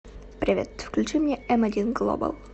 привет включи мне м один глобал